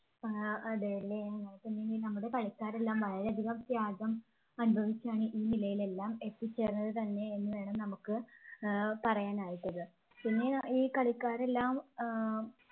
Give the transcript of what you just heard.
ആഹ് അതെയല്ലേ നമ്മുടെ കളിക്കാരെല്ലാം വളരെയധികം ത്യാഗം അനുഭവിച്ചാണ് ഈ നിലയിൽ എല്ലാം എത്തിച്ചേർന്നത് തന്നെ എന്ന് വേണം നമുക്ക് ഏർ പറയാനായി പിന്നെ ഈ കളിക്കാരെല്ലാം ഏർ